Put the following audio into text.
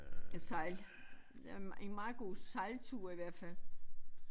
Sejle en meget god sejltur i hvert fald